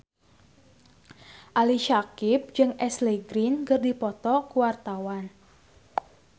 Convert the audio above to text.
Ali Syakieb jeung Ashley Greene keur dipoto ku wartawan